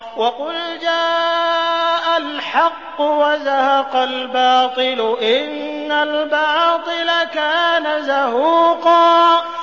وَقُلْ جَاءَ الْحَقُّ وَزَهَقَ الْبَاطِلُ ۚ إِنَّ الْبَاطِلَ كَانَ زَهُوقًا